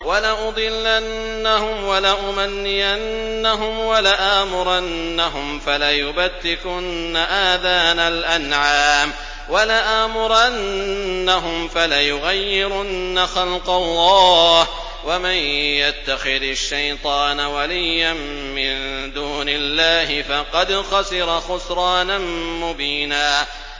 وَلَأُضِلَّنَّهُمْ وَلَأُمَنِّيَنَّهُمْ وَلَآمُرَنَّهُمْ فَلَيُبَتِّكُنَّ آذَانَ الْأَنْعَامِ وَلَآمُرَنَّهُمْ فَلَيُغَيِّرُنَّ خَلْقَ اللَّهِ ۚ وَمَن يَتَّخِذِ الشَّيْطَانَ وَلِيًّا مِّن دُونِ اللَّهِ فَقَدْ خَسِرَ خُسْرَانًا مُّبِينًا